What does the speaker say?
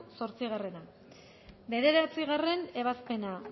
zortzi bederatzigarrena ebazpena